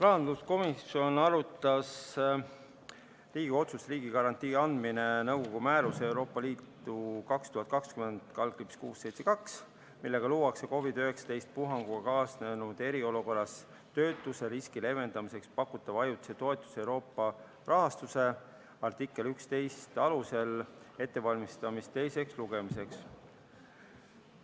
Rahanduskomisjon arutas Riigikogu otsust "Riigigarantii andmine nõukogu määruse 2020/672, millega luuakse COVID-19 puhanguga kaasnenud eriolukorras töötuseriski leevendamiseks pakutava ajutise toetuse Euroopa rahastu , artikli 11 alusel", ette valmistades seda teiseks lugemiseks.